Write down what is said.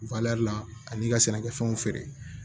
la ani i ka sɛnɛkɛfɛnw feere